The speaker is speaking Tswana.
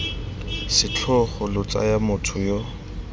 setlhogo lo tsaya motho yo